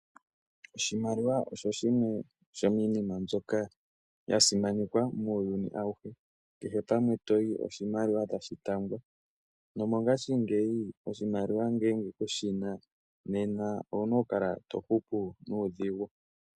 Oshimaliwa osho shimwe shomiinima mbyoka ya simanekwa muuyuni awuhe. Kehe pamwe toyi oshimaliwa tashi taambwa nomongashingeyi oshimaliwa ngele kushi na nena ou na okukala to hupu nuudhigu.